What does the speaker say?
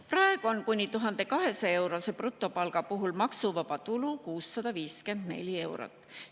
Praegu on kuni 1200-eurose brutopalga puhul maksuvaba tulu 654 eurot.